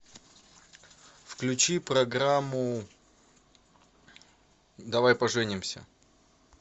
включи программу давай поженимся